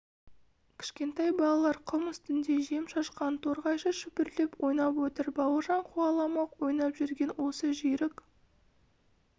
кішкентай балалар құм үстінде жем шашқан торғайша шүпірлеп ойнап отыр бауыржан қуаламақ ойнап жүрген осы жүйрік